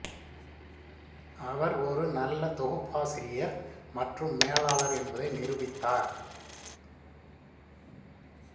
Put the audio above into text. அவர் ஒரு நல்ல தொகுப்பாசிரியர் மற்றும் மேலாளர் என்பதை நிரூபித்தார்